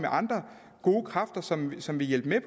andre gode kræfter som som vil hjælpe med